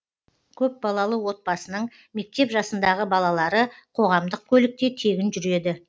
көпбалалы отбасының мектеп жасындағы балалары қоғамдық көлікте тегін жүреді